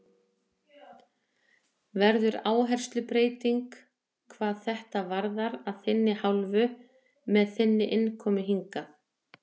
Verður áherslubreyting hvað þetta varðar að þinni hálfu með þinni innkomu hingað?